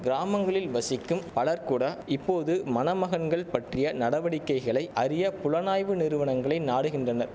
கிராமங்களில் வசிக்கும் பலர் கூட இப்போது மணமகன்கள் பற்றிய நடவடிக்கைகளை அறிய புலனாய்வு நிறுவனங்களை நாடுகின்றனர்